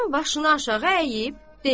Oğlan başını aşağı əyib dedi: